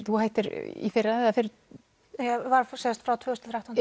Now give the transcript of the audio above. þú hættir í fyrra eða ég var frá tvö þúsund og þrettán